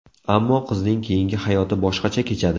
Ammo qizning keyingi hayoti boshqacha kechadi.